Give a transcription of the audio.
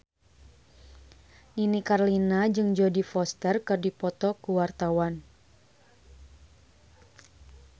Nini Carlina jeung Jodie Foster keur dipoto ku wartawan